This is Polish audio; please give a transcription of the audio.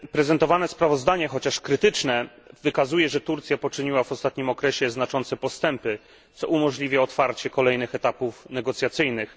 Prezentowane sprawozdanie, chociaż krytyczne, wykazuje, że Turcja poczyniła w ostatnim okresie znaczące postępy, co umożliwia otwarcie kolejnych etapów negocjacyjnych.